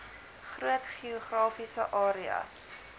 groot geografiese areas